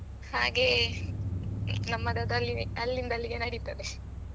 ಹಾಗೆ ನಮ್ಮದದ್ದಲ್ಲಿ ಅಲ್ಲಿಂದ ಅಲ್ಲಿಗೆ ನಡಿತದೆ .